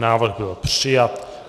Návrh byl přijat.